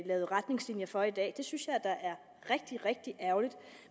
er retningslinjer for i dag det synes jeg da er rigtig rigtig ærgerligt